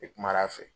E kumana a fɛ